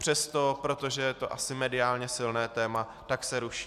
Přesto, protože je to asi mediálně silné téma, tak se ruší.